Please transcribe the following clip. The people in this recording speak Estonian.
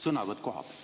Sõnavõtt kohapealt.